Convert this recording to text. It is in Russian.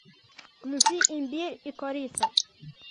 включи имбирь и корица